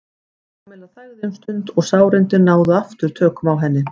Kamilla þagði um stund og sárindin náðu aftur tökum á henni.